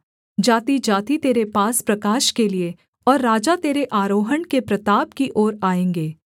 जातिजाति तेरे पास प्रकाश के लिये और राजा तेरे आरोहण के प्रताप की ओर आएँगे